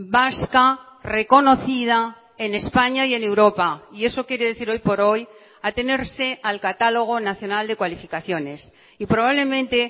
vasca reconocida en españa y en europa y eso quiere decir hoy por hoy atenerse al catálogo nacional de cualificaciones y probablemente